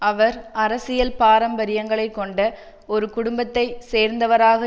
அவர் அரசியல் பாரம்பரியங்களை கொண்ட ஒரு குடும்பத்தை சேர்ந்தவராக